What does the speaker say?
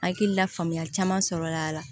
Hakili la faamuya caman sɔrɔla a la